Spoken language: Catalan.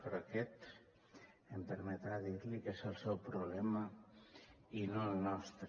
però aquest em permetrà dir li que és el seu problema i no el nostre